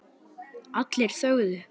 Allir þögðu.